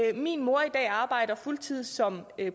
at min mor i dag arbejder fuldtids som